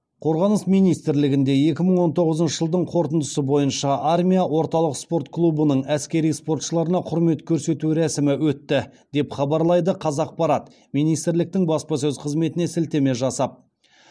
қорғаныс министрлігінде екі мың он тоғызыншы жылдың қорытындысы бойынша армия орталық спорт клубының әскери спортшыларына құрмет көрсету рәсімі өтті деп хабарлайды қазақпарат министрліктің баспасөз қызметіне сілтеме жасап